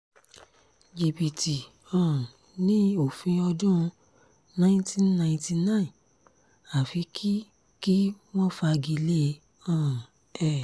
jìbìtì um ni òfin ọdún nineteen ninety nine àfi kí kí wọ́n fagi lé um e